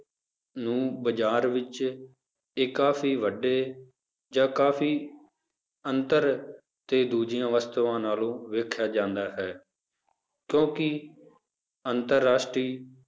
ਨੂੰ ਬਾਜ਼ਾਰ ਵਿੱਚ ਇਹ ਕਾਫ਼ੀ ਵੱਡੇ ਜਾਂ ਕਾਫ਼ੀ ਅੰਤਰ ਤੇ ਦੂਜੀਆਂ ਵਸਤਾਵਾਂ ਨਾਲੋਂ ਵੇਖਿਆ ਜਾਂਦਾ ਹੈ, ਕਿਉਂਕਿ ਅੰਤਰ ਰਾਸ਼ਟਰੀ